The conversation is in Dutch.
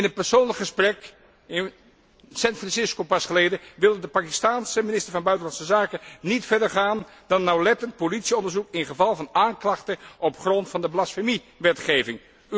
In een persoonlijk gesprek, in San Francisco pas geleden, wilde de Pakistaanse minister van buitenlandse zaken niet verder gaan dan nauwlettend politieonderzoek in geval van aanklachten op grond van de blasfemiewetgeving.